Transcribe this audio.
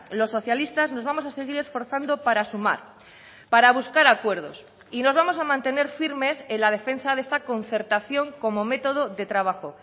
los socialistas nos vamos a seguir esforzando para sumar para buscar acuerdos y nos vamos a mantener firmes en la defensa de esta concertación como método de trabajo